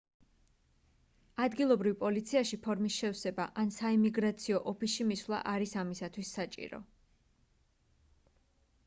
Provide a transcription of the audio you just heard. ადგილობრივ პოლიციაში ფორმის შევსება ან საიმიგრაციო ოფისში მისვლა არის ამისათვის საჭირო